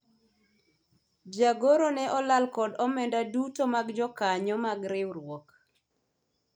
jagoro ne olal kod omenda duto mag jokanyo mar riwruok